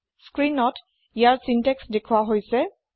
স্ক্ৰীনত ইয়াৰ চিন্তেক্স দেখোৱা হৈছে